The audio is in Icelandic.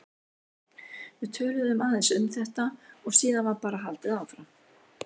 Við töluðum aðeins um þetta og síðan var bara haldið áfram.